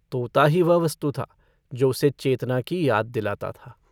तोता ही वह वस्तु था जो उसे चेतना की याद दिलाता था।